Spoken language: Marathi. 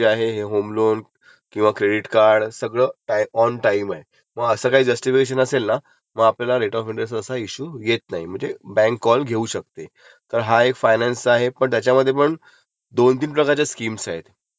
आता एक आहे स्कीम ती एरीयस असते आणि एक ऍडव्हान्स इएमआय स्कीम आहे. तर नेहमी जाताना आपण एरीय स्कीमलाचं जायचं. हे तुला सांगून ठेवतो.काय ते डीलरशिपमध्ये ना काही लोकं असतात ते फिरवतात. की तुमचा एडव्हान्स दोन इएमआय घेतोय